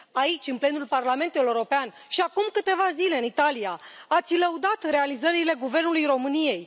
Aici, în plenul Parlamentului European, și acum câteva zile în Italia ați lăudat realizările guvernului României.